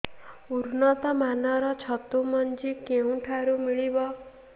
ଉନ୍ନତ ମାନର ଛତୁ ମଞ୍ଜି କେଉଁ ଠାରୁ ମିଳିବ